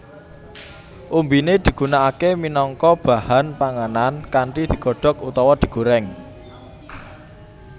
Umbiné digunakaké minangka bahan panganan kanthi digodhok utawa digorèng